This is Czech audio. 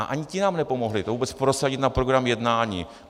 A ani ti nám nepomohli to vůbec prosadit na program jednání.